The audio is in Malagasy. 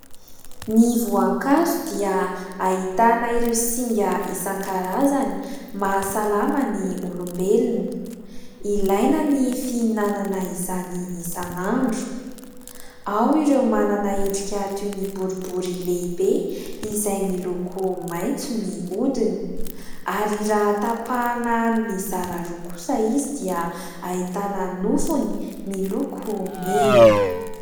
Ny voankazo dia ahitana ireo singa isan-karazany, mahasalama ny olombelona. Ilaina ny fihinanana izany isan'andro. Ao ireo manana endrika toy ny boribory lehibe izay miloko maitso ny hodiny, ary raha tapahina mizara roa kosa izy dia ahitana nofony miloko mena.